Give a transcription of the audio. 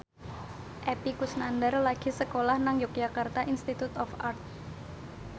Epy Kusnandar lagi sekolah nang Yogyakarta Institute of Art